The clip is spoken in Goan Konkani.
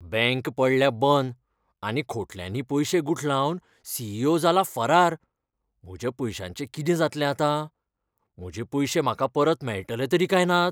बँक पडल्या बंद आनी खोटल्यांनी पयशे गुठलावन सी. ई. ओ. जाला फरार . म्हज्या पयशांचें कितें जातलें आतां? म्हजे पयशे म्हाका परत मेळटले तरी काय नात?